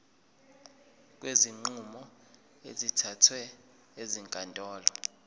kwezinqumo ezithathwe ezinkantolo